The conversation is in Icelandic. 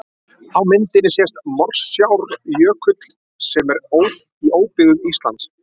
Á myndinni sést Morsárjökull sem er í óbyggðum Íslands.